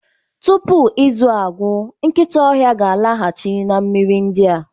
Tupu izu a agwụ, nkịta ọhịa ga-alaghachi na mmiri ndị a.